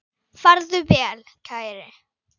Farðu vel, kæri.